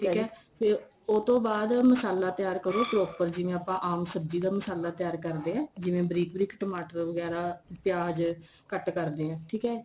ਠੀਕ ਏ ਤੇ ਉਸ ਤੋਂ ਬਾਅਦ ਮਸਲਾ ਤਿਆਰ ਕਰੋ proper ਜਿਵੇਂ ਆਪਾਂ ਆਮ ਸਬਜੀ ਦਾ ਮਸਾਲਾ ਤਿਆਰ ਕਰਦੇ ਆ ਜਿਵੇਂ ਬਰੀਕ ਬਰੀਕ ਟਮਾਟਰ ਵਗੈਰਾ ਪਿਆਜ ਕੱਟ ਕਰਦੇ ਆ ਠੀਕ ਏ